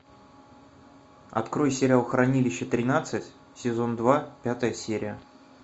открой сериал хранилище тринадцать сезон два пятая серия